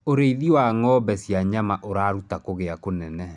ũrĩithi wa ng'ombe cia nyama uraruta kugia kĩnene